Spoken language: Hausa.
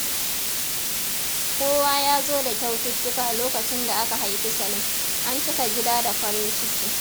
Kowa ya zo da kyaututtuka lokacin da aka haifi Salim, an cika gida da farin ciki.